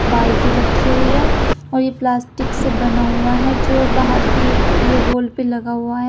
बाल्टी रखी हुई है और यह प्लास्टिक से बना हुआ है जो बाहर की ये होल पर लगा हुआ है।